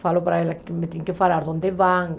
Falo para elas que me tem que falar de onde vão.